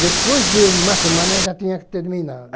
Depois de uma semana já tinha que terminar.